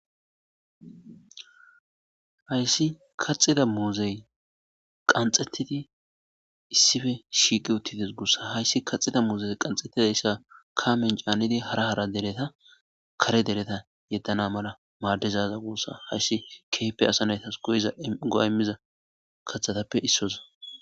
Hays kaxida muzey qaxetid issippe shiqid utides guusa, Hays kaxidaysa Kamen canid hara hara dereta kare dereta yedana mala madizaza guusa Hays keehippe asa naytas go'a imza kathatappe isoza.